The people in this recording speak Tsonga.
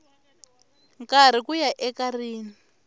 karhi ku ya eka rin